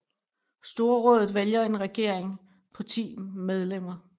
Storrådet vælger en regering på 10 medlemmer